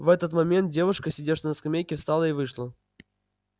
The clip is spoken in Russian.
в этот момент девушка сидевшая на скамейке встала и вышла